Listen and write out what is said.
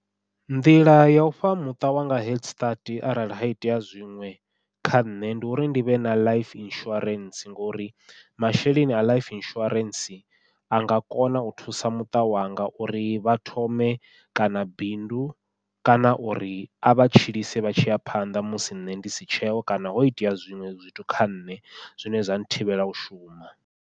Nḓila yau fha muṱa wanga head start arali ha itea zwiṅwe kha nṋe, ndi uri ndivhe na life insurance ngori masheleni a life insurance a nga kona u thusa muṱa wanga uri vha thome kana bindu kana uri a vha tshilise vha tshi ya phanḓa musi nṋe ndi si tsheho kana ho itea zwiṅwe zwithu kha nṋe zwine zwa thivhela u shuma.